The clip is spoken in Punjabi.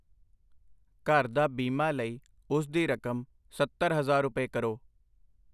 ਘਰ ਦਾ ਬੀਮਾ ਲਈ ਉਸ ਦੀ ਰਕਮ ਸੱਤਰ ਹਜ਼ਾਰ ਰੁਪਏ ਕਰੋ I